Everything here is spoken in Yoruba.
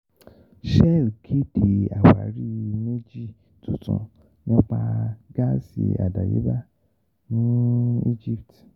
Shell kéde àwárí méjì tuntun nípa gáàsì àdáyébá ní Egypt